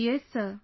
Yes sir